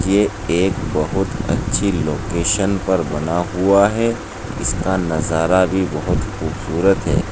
ये एक बहुत अच्छी लोकेशन पर बना हुआ है इसका नजारा भी बहुत ही खूबसूरत है।